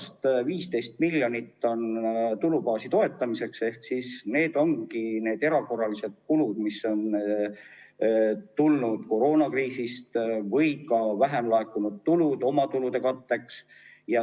Esiteks, 15 miljonit on tulubaasi toetamiseks ja sinna alla lähevad need erakorraliselt kulud, mis on tulenenud koroonakriisist, või on ka vähem laekunud tulusid oma kulude katteks.